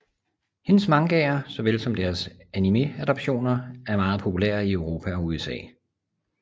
Hendes mangaer såvel som deres anime adaptationer er meget populære i Europa og i USA